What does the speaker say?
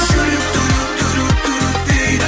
жүрек дейді